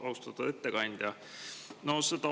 Austatud ettekandja!